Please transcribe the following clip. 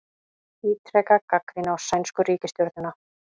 Ítreka gagnrýni á sænsku ríkisstjórnina